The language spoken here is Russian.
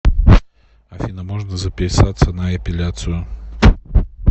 афина можно записаться на эпиляцию